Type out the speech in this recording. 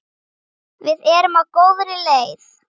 Við erum á góðri leið.